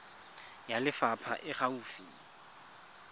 ya lefapha e e gaufi